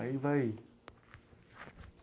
Aí vai ir.